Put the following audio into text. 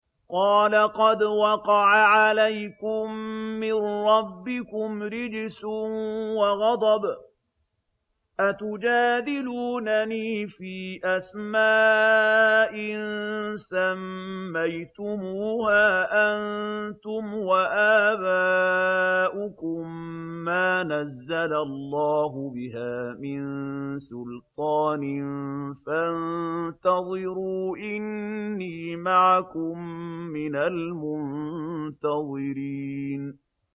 قَالَ قَدْ وَقَعَ عَلَيْكُم مِّن رَّبِّكُمْ رِجْسٌ وَغَضَبٌ ۖ أَتُجَادِلُونَنِي فِي أَسْمَاءٍ سَمَّيْتُمُوهَا أَنتُمْ وَآبَاؤُكُم مَّا نَزَّلَ اللَّهُ بِهَا مِن سُلْطَانٍ ۚ فَانتَظِرُوا إِنِّي مَعَكُم مِّنَ الْمُنتَظِرِينَ